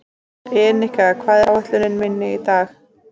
Enika, hvað er á áætluninni minni í dag?